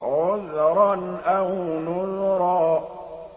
عُذْرًا أَوْ نُذْرًا